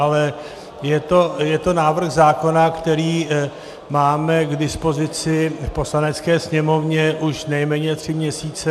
Ale je to návrh zákona, který máme k dispozici v Poslanecké sněmovně už nejméně tři měsíce.